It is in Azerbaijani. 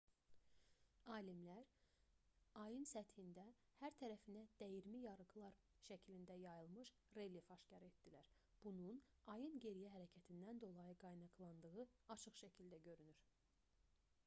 alimlər ayın səthində hər tərəfinə dəyirmi yarıqlar şəklində yayılmış relyef aşkar etdilər bunun ayın geriyə hərəkətindən dolayı qaynaqlandığı açıq şəkildə görünür